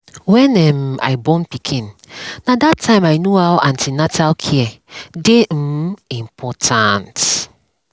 when um i born pikin na that tym i know how an ten atal um care dey important